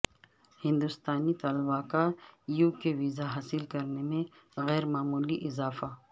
ہندوستانی طلبہ کا یو کے ویزا حاصل کرنے میں غیر معمولی اضافہ